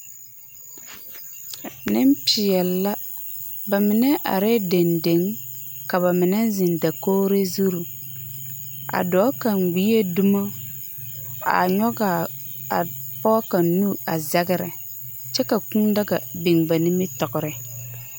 Nempeɛle bamine arɛɛ dendeŋ ka ba mine ziŋ dakogri zuri a dɔɔ kaŋ gbie dumo a nyɔge a pɔge kaŋ nu a zagere kyɛ ka a kūūdaga biŋ ba nimitɔgre